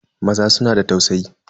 Maza suna da tausayi.